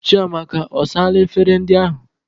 Chiamaka, ọ saala efere ndị ahụ?